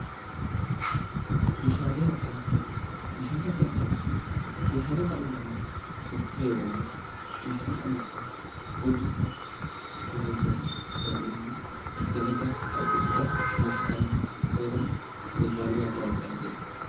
Meeshaalee adda addaa. Meeshaalee adda addaa jechuun meeshaalee dhalli namaa itti fayyadamudha. Meeshaalee dhalli namaa hojiisaa yeroo hojjetuu yookin immoo dalagaasaa salphisuudhaaf meeshaa dhalli namaa itti fayyadamu meeshaalee adda addaa jedhama.